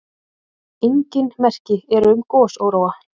Engin merki eru um gosóróa.